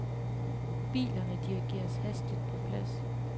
Bilerne dirrigeres hastigt på plads.